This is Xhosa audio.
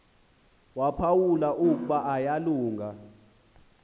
waphawula ukuba uyalunga